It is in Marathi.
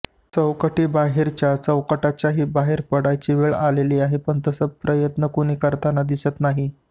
चौकटीबाहेरच्या चौकटीच्याही बाहेर पडायची वेळ आलेली आहे पण तसा प्रयत्न कुणी करताना दिसत नाही